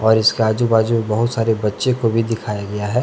और इसके आजू बाजू बहुत सारे बच्चे को भी दिखाया गया है।